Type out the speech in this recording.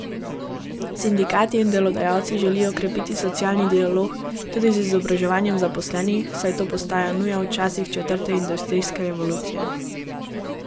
Sindikati in delodajalci želijo krepiti socialni dialog tudi z izobraževanji zaposlenih, saj to postaja nuja v časih četrte industrijske revolucije.